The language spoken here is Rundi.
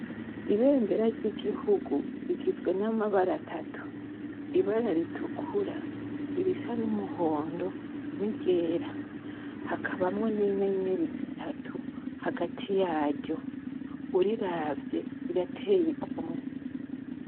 Ibendera ry'igihugu rigizwe n'amabara atatu: ibara ritukura, irisa n'umuhondo, n'iryera. Hakabamwo n'inyenyeri zitatu hagati yaryo. Uriravye, rirateye igomwe.